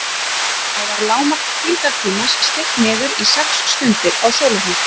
Þá var lágmark hvíldartímans stytt niður í sex stundir á sólarhring.